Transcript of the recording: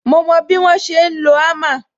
Mo mo bí wọ́n ṣe ń lo hammer